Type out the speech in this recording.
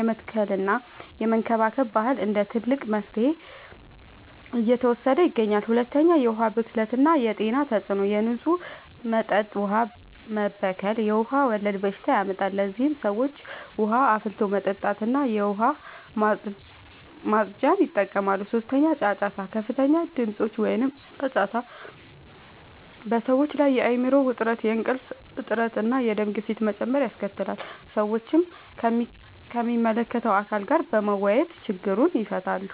የመትከልና የመንከባከብ ባህል እንደ ትልቅ መፍትሄ እየተወሰደ ይገኛል። 2. የዉሀ ብክለት የጤና ተጽዕኖ፦ የንጹህ መጠጥ ውሃ መበከል የውሃ ወለድ በሽታዎችን ያመጣል። ለዚህም ሰዎች ውሃን አፍልቶ መጠጣትና የዉሃ ማፅጃን ይጠቀማሉ። 3. ጫጫታ፦ ከፍተኛ ድምጾች (ጫጫታ) በሰዎች ላይ የአይምሮ ዉጥረት፣ የእንቅልፍ እጥረት፣ እና የደም ግፊት መጨመር ያስከትላል። ሰዎችም ከሚመለከተዉ አካል ጋር በመወያየት ችግሩን ይፈታሉ።